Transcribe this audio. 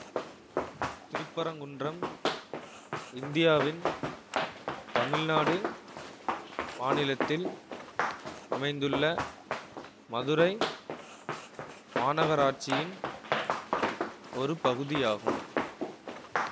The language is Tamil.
திருப்பரங்குன்றம் இந்தியாவின் தமிழ்நாடு மாநிலத்தில் அமைந்துள்ள மதுரை மாநகராட்சியின் ஒரு பகுதியாகும்